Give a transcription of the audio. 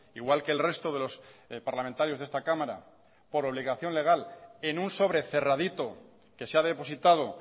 igual que el resto de los parlamentarios de esta cámara por obligación legal en un sobre cerradito que se ha depositado